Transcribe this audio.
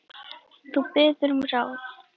Þú biður um ráð.